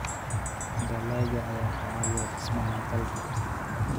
dalagga ayaa ka caawiya dhismaha dalka.